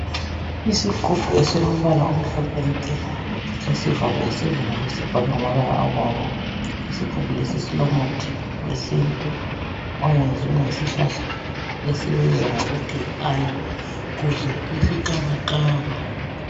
Isigumbu esilombala omhlophe nke lesivalo esibomvu sibhalwe ngamabala abomvu isigubhu lesi silomuthi wesintu owenziwe ngesihlahla esibizwa ngokuthi yi aloe kumbe isikabakaba.